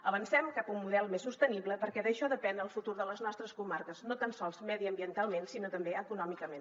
avancem cap a un model més sostenible perquè d’això depèn el futur de les nostres comarques no tan sols mediambientalment sinó també econòmicament